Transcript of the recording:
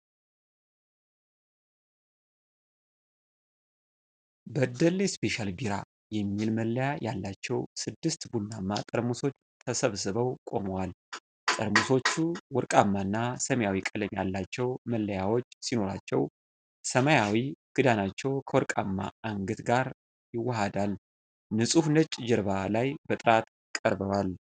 "በደሌ ስፔሻል ቢራ" የሚል መለያ ያላቸው ስድስት ቡናማ ጠርሙሶች ተሰብስበው ቆመዋል። ጠርሙሶቹ ወርቃማ እና ሰማያዊ ቀለም ያላቸው መለያዎች ሲኖራቸው፣ ሰማያዊው ክዳናቸው ከወርቃማው አንገት ጋር ይዋሃዳል። ንጹህ ነጭ ጀርባ ላይ በጥራት ቀርበዋል።